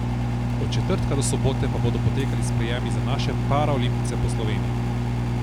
Od četrtka do sobote pa bodo potekali sprejemi za naše paraolimpijce po Sloveniji.